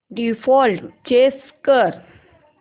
default change कर